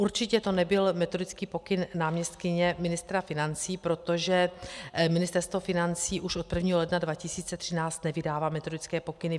Určitě to nebyl metodický pokyn náměstkyně ministra financí, protože Ministerstvo financí už od 1. ledna 2013 nevydává metodické pokyny.